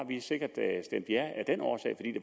sikkert stemt ja af den årsag